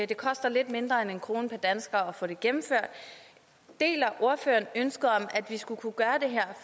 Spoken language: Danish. det koster lidt mindre end en kroner per dansker at få det gennemført deler ordføreren ønsket om at vi skulle kunne gøre det her